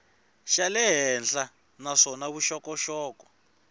xa le henhla naswona vuxokoxoko